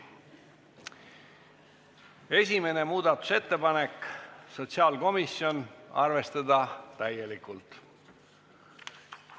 Esimene muudatusettepanek, sotsiaalkomisjoni esitatud – arvestada täielikult.